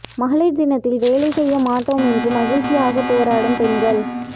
மகளிர் தினத்தில் வேலை செய்ய மாட்டோம் என்று மகிழ்ச்சியாக போராடும் பெண்கள்